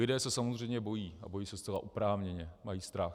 Lidé se samozřejmě bojí a bojí se zcela oprávněně, mají strach.